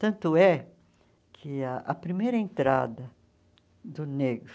Tanto é que a primeira entrada do negro